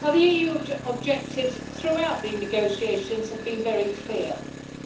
The EU objectives throughout the negotiations have been very clear